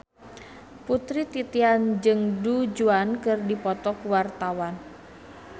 Putri Titian jeung Du Juan keur dipoto ku wartawan